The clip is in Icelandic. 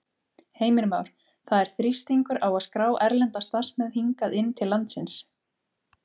Heimir Már: Það er þrýstingur á að skrá erlenda starfsmenn hingað inn til landsins?